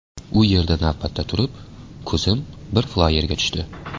U yerda navbatda turib, ko‘zim bir flayerga tushdi.